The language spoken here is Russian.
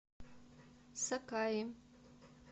сакаи